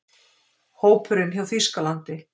Hópurinn hjá Þýskalandi: